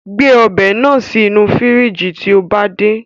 Gbé ọbẹ̀ náà sì inú fíríjí tí ó bá ti dé